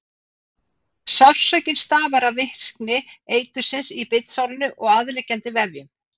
Sársaukinn stafar af virkni eitursins í bitsárinu og aðliggjandi vefjum.